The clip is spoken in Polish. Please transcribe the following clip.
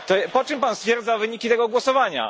Po czym Pan stwierdza wyniki tego głosowania.